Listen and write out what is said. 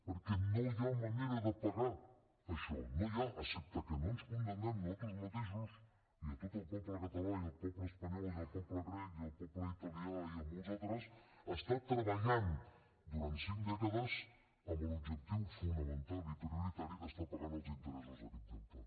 perquè no hi ha manera de pagar això no n’hi ha excepte que no ens condemnem nosaltres mateixos i tot el poble català i el poble espanyol i el poble grec i el poble italià i molts altres a estar treballant durant cinc dècades amb l’objectiu fonamental i prioritari d’estar pagant els interessos d’aquest deute